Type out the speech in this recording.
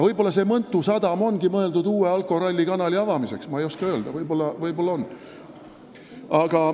Võib-olla see Mõntu sadam ongi mõeldud uue alkorallikanali avamiseks, ma ei oska öelda, võib-olla on.